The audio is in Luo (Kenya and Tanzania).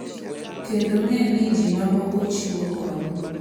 Kendo ng’e ni ji mamoko chiwo kony,